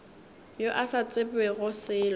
yo a sa tsebego selo